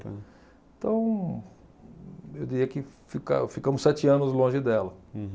Então, eu diria que fica ficamos sete anos longe dela. Uhum.